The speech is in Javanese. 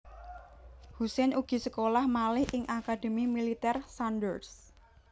Hussein ugi sekolah malih ing Akademi Militèr Sandhurst